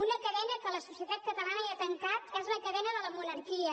una cadena que la societat catalana ja ha trencat és la cadena de la monarquia